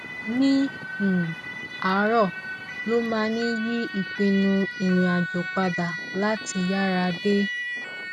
ní um àárọ ló máa ń yí ìpinnu irinàjò padà láti yára dé